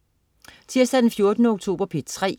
Tirsdag den 14. oktober - P3: